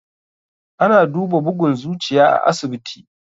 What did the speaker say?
Ana duba bugun zuciya a asibiti.